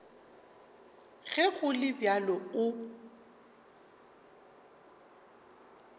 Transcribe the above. ge go le bjalo o